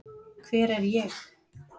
hver er ég